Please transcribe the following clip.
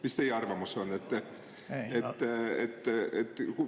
Mis teie arvamus on?